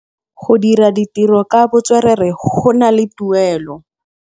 Go dira ditirô ka botswerere go na le tuelô.